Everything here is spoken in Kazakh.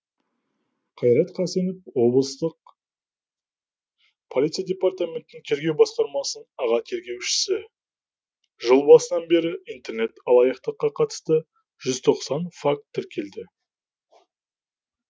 қайрат қасенов облыстық полиция департаментінің тергеу басқармасының аға тергеушісі жыл басынан бері интернет алаяқтыққа қатысты жүз тоқсан факт тіркелді